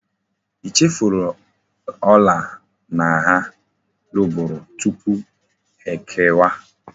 I chefu ola na ha luburu tupu ha eke wa?